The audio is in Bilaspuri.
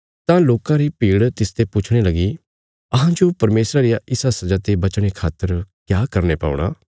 तां लोकां री भीड़ तिसते पुछणे लगी अहांजो परमेशरा रिया इसा सजा ते बचणे खातर क्या करने पौणा